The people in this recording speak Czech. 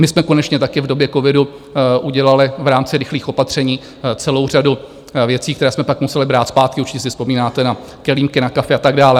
My jsme konečně taky v době covidu udělali v rámci rychlých opatření celou řadu věcí, které jsme pak museli brát zpátky, určitě si vzpomínáte na kelímky na kafe a tak dále.